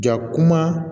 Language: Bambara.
Ja kuma